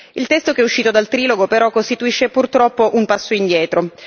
Il testo che è uscito dal trilogo però costituisce purtroppo un passo indietro.